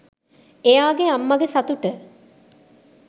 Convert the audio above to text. එයාගේ අම්මගේ සතුට